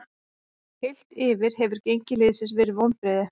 Heilt yfir hefur gengi liðsins verið vonbrigði.